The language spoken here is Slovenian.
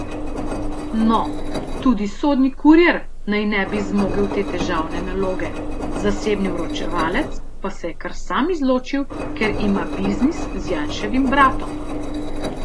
No, tudi sodni kurir naj ne bi zmogel te težavne naloge, zasebni vročevalec pa se je kar sam izločil, ker ima biznis z Janševim bratom.